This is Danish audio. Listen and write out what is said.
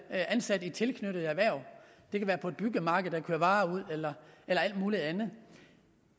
ansat i tilknyttede erhverv det kan være på et byggemarked hvor varer ud eller alt muligt andet